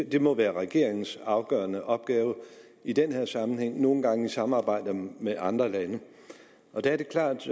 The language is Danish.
det må være regeringens afgørende opgave i den her sammenhæng nogle gange i samarbejde med andre lande da er det klart